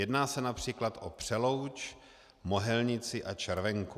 Jedná se například o Přelouč, Mohelnici a Červenku.